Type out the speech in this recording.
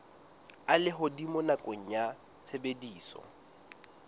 a lehodimo nakong ya tshebediso